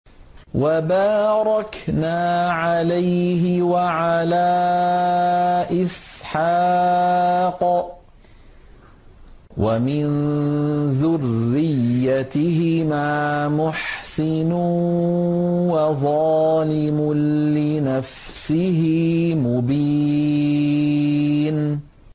وَبَارَكْنَا عَلَيْهِ وَعَلَىٰ إِسْحَاقَ ۚ وَمِن ذُرِّيَّتِهِمَا مُحْسِنٌ وَظَالِمٌ لِّنَفْسِهِ مُبِينٌ